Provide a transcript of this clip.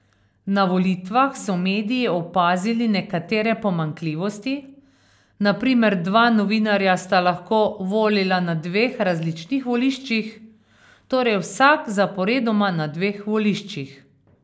Na volitvah so mediji opazili nekatere pomanjkljivosti, na primer dva novinarja sta lahko volila na dveh različnih voliščih, torej vsak zaporedoma na dveh voliščih.